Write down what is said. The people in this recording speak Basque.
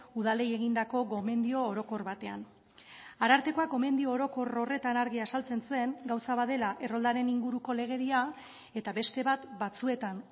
udalei egindako gomendio orokor batean arartekoak gomendio orokor horretan argi azaltzen zuen gauza bat dela erroldaren inguruko legedia eta beste bat batzuetan